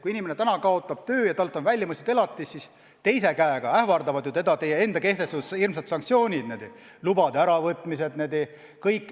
Kui inimene täna kaotab töö ja talt on välja mõistetud elatis, siis teisalt ähvardavad teda ju teie enda kehtestatud hirmsad sanktsioonid, igasuguste lubade äravõtmised.